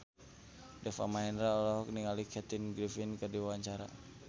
Deva Mahendra olohok ningali Kathy Griffin keur diwawancara